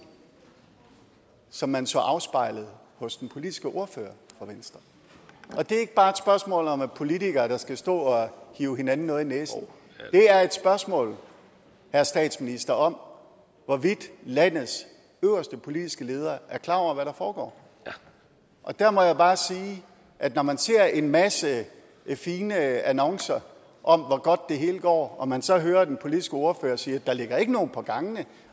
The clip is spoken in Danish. som man så afspejlet hos den politiske ordfører fra venstre det er ikke bare et spørgsmål om politikere der skal stå og rive hinanden noget i næsen det er et spørgsmål herre statsminister om hvorvidt landets øverste politiske leder er klar over hvad der foregår og der må jeg bare sige at når man ser en masse fine annoncer om hvor godt det hele går og man så hører den politiske ordfører sige at der ikke ligger nogen på gangene